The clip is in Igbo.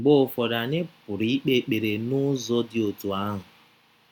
Mgbe ụfọdụ anyị pụrụ ikpe ekpere n’ụzọ dị otú ahụ.